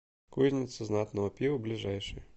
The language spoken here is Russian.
кузница знатного пива ближайший